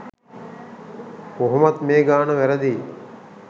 කොහොමත් මේ ගාන වැරදියි.